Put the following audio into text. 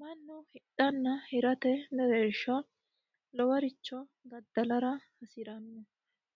Mannu hidhanna hirate mereersha lowore daddallara hasirano